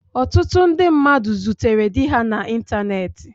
Ọtụtụ ndị mmadụ zutere di ha na ịntanetị.